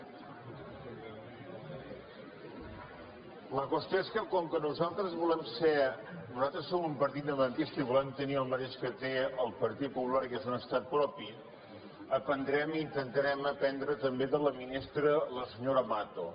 la qüestió és que com que nosaltres som un partit independentista i volem tenir el mateix que té el partit popular que és un estat propi aprendrem intentarem aprendre també de la ministra la senyora mato